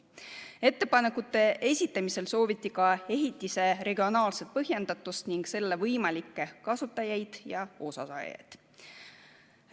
Ettepanekute esitamisel sooviti ka ehitise regionaalset põhjendatust ning selle võimalikke kasutajaid ja sellest osasaajaid.